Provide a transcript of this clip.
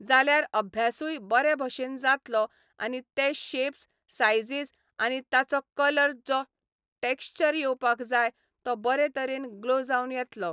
जाल्यार अभ्यासूय बरे भशेन जातलो आनी ते शेप्स सायजीस आनी ताचो कलर जो टॅक्शचर येवपाक जाय तो बरे तरेन ग्लो जावन येतलो.